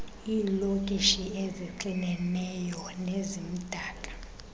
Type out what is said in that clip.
iilokishi ezixineneyo nezimdaka